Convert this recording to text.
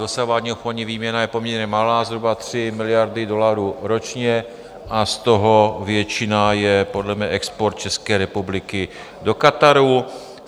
Dosavadní obchodní výměna je poměrně malá, zhruba 3 miliardy dolarů ročně, a z toho většina je podle mě export České republiky do Kataru.